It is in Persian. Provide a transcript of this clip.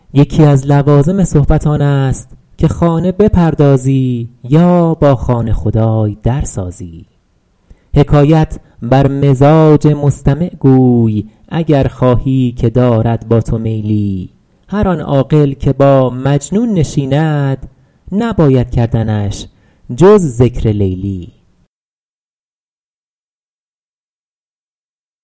یکی از لوازم صحبت آن است که خانه بپردازی یا با خانه خدای در سازی حکایت بر مزاج مستمع گوی اگر خواهی که دارد با تو میلی هر آن عاقل که با مجنون نشیند نباید کردنش جز ذکر لیلی